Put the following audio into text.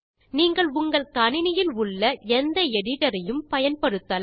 நீங்கள் உங்கள் கணினியில் உள்ள எந்த எடிட்டர் ஐயும் பயன்படுத்தலாம்